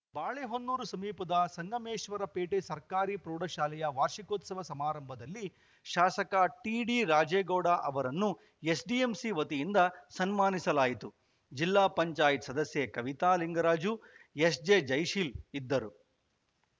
ಬಾಳೆಹೊನ್ನೂರು ಸಮೀಪದ ಸಂಗಮೇಶ್ವರಪೇಟೆ ಸರ್ಕಾರಿ ಪ್ರೌಢಶಾಲೆಯ ವಾರ್ಷಿಕೋತ್ಸವ ಸಮಾರಂಭದಲ್ಲಿ ಶಾಸಕ ಟಿಡಿ ರಾಜೇಗೌಡ ಅವರನ್ನು ಎಸ್‌ಡಿಎಂಸಿ ವತಿಯಿಂದ ಸನ್ಮಾನಿಸಲಾಯಿತು ಜಿಲ್ಲಾ ಪಂಚಾಯತ್ ಸದಸ್ಯೆ ಕವಿತಾ ಲಿಂಗರಾಜು ಎಸ್‌ಜೆಜಯಶೀಲ್‌ ಇದ್ದರು